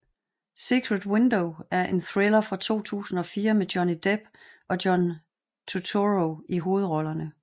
Secret Window er en thriller fra 2004 med Johnny Depp og John Turturro i hovedrollerne